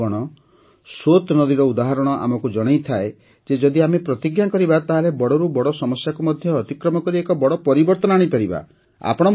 ବନ୍ଧୁଗଣ ସୋତ୍ ନଦୀର ଉଦାହରଣ ଆମକୁ ଜଣାଇଥାଏ ଯେ ଯଦି ଆମେ ପ୍ରତିଜ୍ଞା କରିବା ତାହେଲେ ବଡ଼ରୁ ବଡ଼ ସମସ୍ୟାକୁ ମଧ୍ୟ ଅତିକ୍ରମ କରି ଏକ ବଡ଼ ପରିବର୍ତ୍ତନ ଆଣିପାରିବା